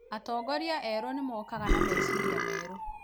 atongoria erũ nĩ mokaga na meciria merũ.